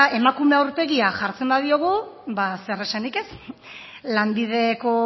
emakume aurpegia jartzen badiogu ba zer esanik ez lanbideko